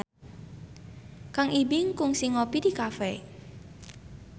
Kang Ibing kungsi ngopi di cafe